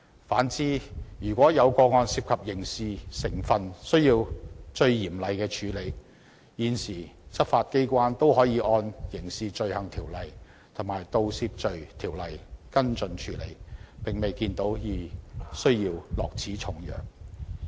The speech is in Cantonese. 反之，如果有個案涉及刑事成分而須嚴厲處理時，現時執法機構也可以按《刑事罪行條例》及《盜竊罪條例》跟進處理，並未有需要落此重藥。